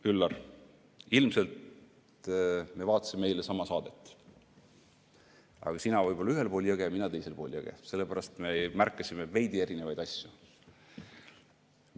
Üllar, ilmselt me vaatasime eile sama saadet – aga sina võib-olla ühel pool jõge, mina teisel pool jõge, sellepärast me märkasime veidi erinevaid asju.